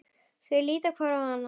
Þau líta hvort á annað.